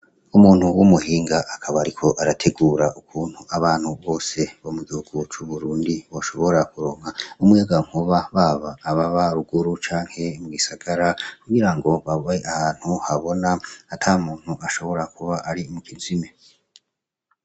Umuntu w' umuhinga akabariko arategura ukuntu abantu bose bamuduguca burundi boshobora kuronka umuyaga nkuba baba aba ba ruguru canke mw'isagara kugira ngo bab ahantu habona ata muntu ashobora kuba ari mu kizime.